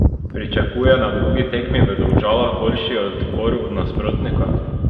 Pričakuje na drugi tekmi v Domžalah boljši odpor nasprotnika?